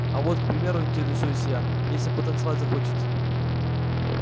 а вот к примеру интересуюсь я если потанцевать захочется